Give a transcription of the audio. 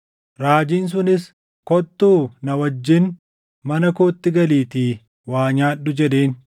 Raajiin sunis, “Kottuu na wajjin mana kootti galiitii waa nyaadhu” jedheen.